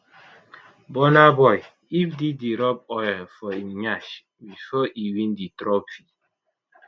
burna boy if diddy rub oil for im nyash bifor e win di trophy